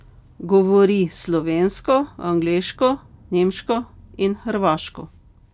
Govori slovensko, angleško, nemško in hrvaško.